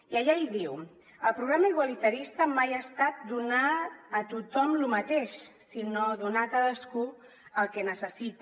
i allà hi diu el programa igualitarista mai ha estat donar a tothom lo mateix sinó donar a cadascú el que necessita